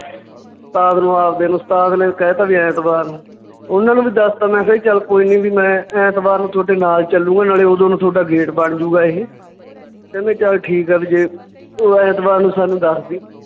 ਉਸਤਾਦ ਨੂੰ ਆਪਦੇ ਨੂੰ ਉਸਤਾਦ ਨੇ ਕਹਿ ਦਿੱਤਾ ਵੀ ਐਤਵਾਰ ਨੂੰ ਉਹਨਾਂ ਨੂੰ ਵੀ ਦੱਸਤਾ ਮੈਂ ਕਿਹਾ ਜੀ ਚੱਲ ਕੋਈ ਨੀ ਵੀ ਮੈਂ ਐਤਵਾਰ ਨੂੰ ਤੁਹਾਡੇ ਨਾਲ ਚੱਲਾਂਗਾ ਨਾਲੇ ਓਦੋਂ ਨੂੰ ਤੁਹਾਡਾ gate ਬਣ ਜਾਊਗਾ ਇਹ, ਕਹਿੰਦੇ ਚੱਲ ਠੀਕ ਆ ਵੀ ਜੇ ਤੇ ਐਤਵਾਰ ਨੂੰ ਸਾਨੂੰ ਦੱਸਦੀ